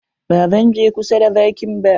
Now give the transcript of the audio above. Ba zan je kusa da zakin ba.